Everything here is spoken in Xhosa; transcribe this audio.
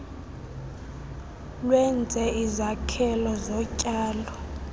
lwenze izakhelo zotyalo